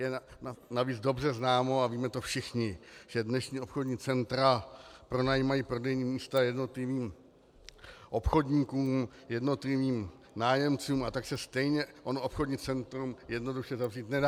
Je navíc dobře známo a víme to všichni, že dnešní obchodní centra pronajímají prodejní místa jednotlivým obchodníkům, jednotlivým nájemcům, a tak se stejně ono obchodní centrum jednoduše zavřít nedá.